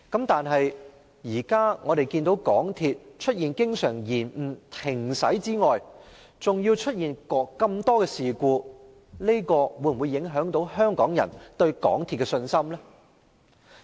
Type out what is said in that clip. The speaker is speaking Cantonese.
但是，我們現在看到港鐵除經常延誤、停駛外，更出現那麼多事故，這會否影響香港人對港鐵的信心呢？